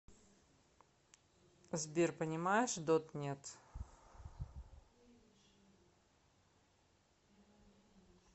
сбер понимаешь дот нет